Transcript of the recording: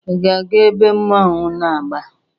Ị ga-aga ebe mmọnwụ na-agba?